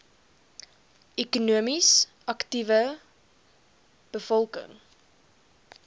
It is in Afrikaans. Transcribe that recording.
ekonomies aktiewe bevolking